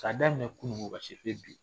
K'a daminɛ kunuko ka se fo bi